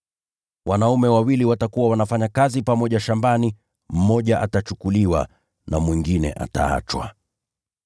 Wanaume wawili watakuwa wanafanya kazi pamoja shambani; mmoja atachukuliwa na mwingine ataachwa.]”